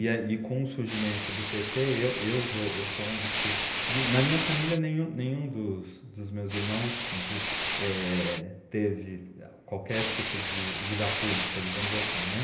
E a e com o surgimento do pê tê, eu eu vou eu sou um dos que de... Na minha família, nenhum nenhum dos meus irmãos de eh teve qualquer tipo de vida pública, digamos assim, né.